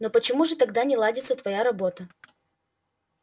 но почему же тогда не ладится твоя работа